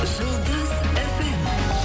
жұлдыз фм